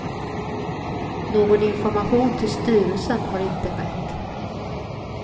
Någon information till styrelsen har inte skett.